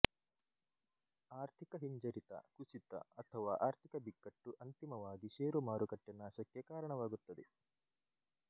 ಆರ್ಥಿಕ ಹಿಂಜರಿತ ಕುಸಿತ ಅಥವಾ ಆರ್ಥಿಕ ಬಿಕ್ಕಟ್ಟುಅಂತಿಮವಾಗಿ ಶೇರು ಮಾರುಕಟ್ಟೆ ನಾಶಕ್ಕೆ ಕಾರಣವಾಗುತ್ತದೆ